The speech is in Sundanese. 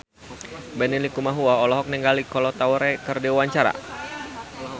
Benny Likumahua olohok ningali Kolo Taure keur diwawancara